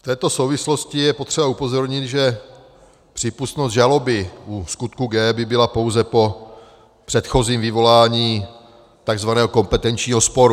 V této souvislosti je potřeba upozornit, že přípustnost žaloby u skutku G by byla pouze po předchozím vyvolání takzvaného kompetenčního sporu.